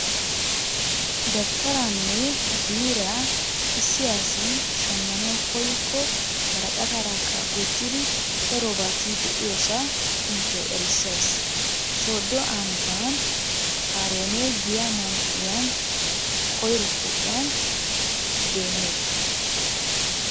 Dabttaraanne biiriyaa issi asi shammanawu koykko woraqqataarakka gujjidi darobati de'iyosaa inttiyo erissays, sooddo ambbaan haaroone giya man"iyan koyro pooqiyan deemmeeta.